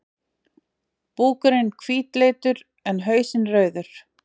Búkurinn hvítleitur, en hausinn rauður.